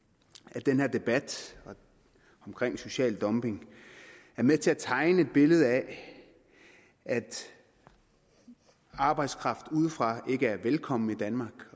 at den her debat omkring social dumping er med til at tegne et billede af at arbejdskraft udefra ikke er velkommen i danmark